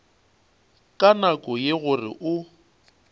ka nako ye gore o